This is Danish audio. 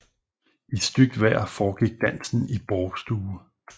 I stygt vejr foregik dansen i bårstue